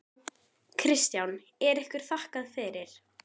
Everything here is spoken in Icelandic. Kristján: Er ykkur þakkað fyrir?